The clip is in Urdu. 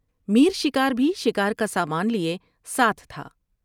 میر شکار بھی شکار کا سامان لیے ساتھ تھا ۔